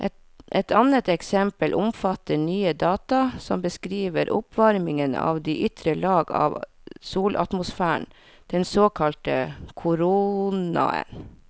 Et annet eksempel omfatter nye data som beskriver oppvarmingen av de ytre lag av solatmosfæren, den såkalte koronaen.